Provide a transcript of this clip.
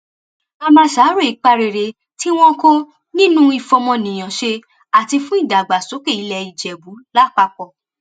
a máa ṣàárò ipa rere tí wọn kó nínú ìfọmọníyàn ṣe àti fún ìdàgbàsókè ilẹ ìjẹbù lápapọ